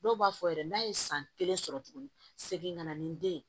Dɔw b'a fɔ yɛrɛ n'a ye san kelen sɔrɔ tuguni segin ka na ni den ye